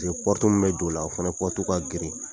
min bɛ don o la o fana ka girin